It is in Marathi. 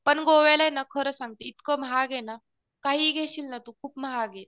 पण गोव्याला ये ना खरं सांगते इतकं महाग ये ना काहीही घेशील ना तू खूप महाग आहे.